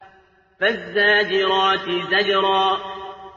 فَالزَّاجِرَاتِ زَجْرًا